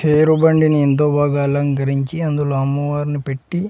తేరు బండిని ఎంతో బాగా అలంకరించి అందులో అమ్మవారిని పెట్టి--